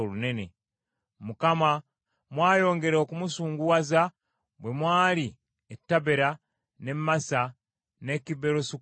Mukama , mwayongera okumusunguwaza bwe mwali e Tabera, n’e Masa, n’e Kiberosu Kataava.